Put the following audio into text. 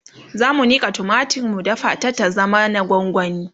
zamu Nika tumatir mu dafa ta ta zama na gwangwani